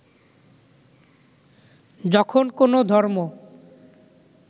যখন কোনও ধর্ম